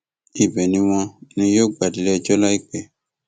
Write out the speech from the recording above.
ibẹ ni wọn ní yóò gbà déléẹjọ láìpẹ